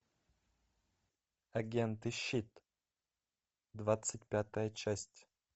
агенты щит двадцать пятая часть